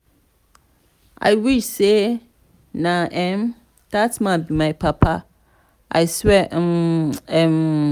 i wish say na um dat man be my papa i swear um. um